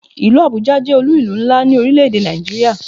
Ìlú Abuja jẹ́ olú ìlú ńlá ni orile-ede Nigeria